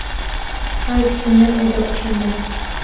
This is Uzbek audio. Hayit kuni edi o‘shanda.